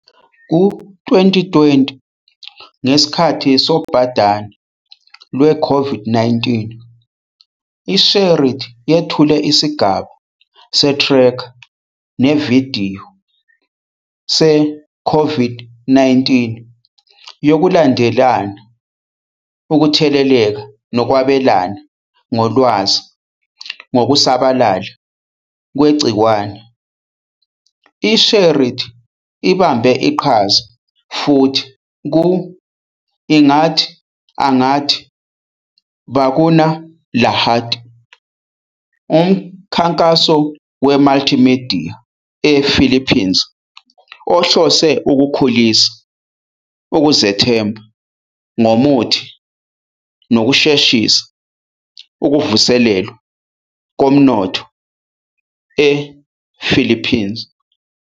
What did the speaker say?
Ku-2020, ngesikhathi sobhadane lwe-COVID-19, i-SHAREit yethule isigaba se-tracker nevidiyo se-COVID-19 yokulandelela ukutheleleka nokwabelana ngolwazi ngokusabalala kwegciwane. I-SHAREit ibambe iqhaza futhi ku- "Ingat Angat Bakuna Lahat", umkhankaso wemultimedia ePhilippines ohlose ukukhulisa ukuzethemba ngomuthi nokusheshisa ukuvuselelwa komnotho ePhilippines.